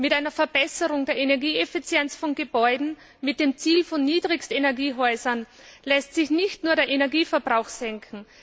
Mit einer Verbesserung der Energieeffizienz von Gebäuden mit dem Ziel von Niedrigstenergiehäusern lässt sich nicht nur der Energieverbrauch senken.